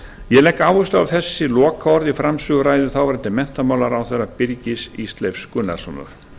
ég legg áherslu á þessi lokaorð í framsöguræðu þáverandi menntamálaráðherra birgis ísleifs gunnarssonar